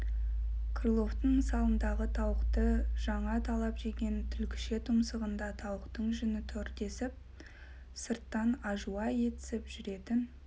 крыловтың мысалындағы тауықты жаңа талап жеген түлкіше тұмсығында тауықтың жүні тұр десіп сырттан ажуа етсіп жүретін